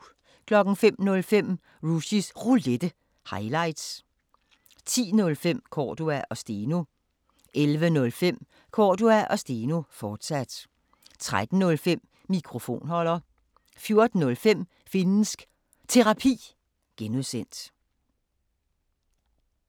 05:05: Rushys Roulette – highlights 10:05: Cordua & Steno 11:05: Cordua & Steno, fortsat 13:05: Mikrofonholder 14:05: Finnsk Terapi (G)